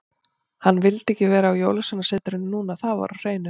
Hann vildi ekki vera á Jólasveinasetrinu núna, það var á hreinu.